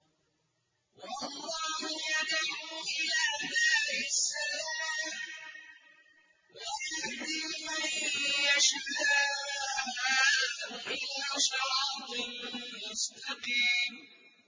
وَاللَّهُ يَدْعُو إِلَىٰ دَارِ السَّلَامِ وَيَهْدِي مَن يَشَاءُ إِلَىٰ صِرَاطٍ مُّسْتَقِيمٍ